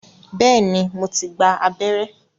Bẹ́ẹ̀ni, mo ti gba abẹ́rẹ́